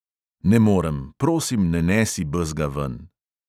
Ne morem, prosim ne nesi bezga ven.